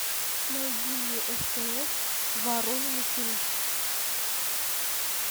найди мне стс воронины фильм